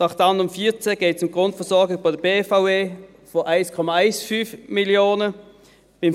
Beim Traktandum 14 geht es um die Grundversorgung der BVE von 1,15 Mio. Franken.